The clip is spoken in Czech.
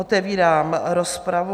Otevírám rozpravu.